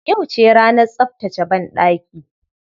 Yauce ranar tsaftace banɗaki.